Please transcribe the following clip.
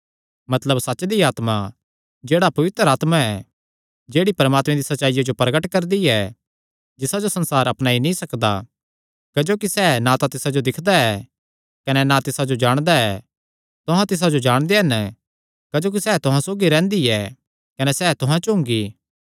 मतलब सच्च दी आत्मा जेह्ड़ा पवित्र आत्मा ऐ जेह्ड़ी परमात्मे दी सच्चाईया जो प्रगट करदी ऐ जिसा जो संसार अपनाई नीं सकदा क्जोकि सैह़ ना तिसा जो दिक्खदा ऐ कने ना तिसा जो जाणदा ऐ तुहां तिसा जो जाणदे हन क्जोकि सैह़ तुहां सौगी रैंह्दी ऐ कने सैह़ तुहां च हुंगी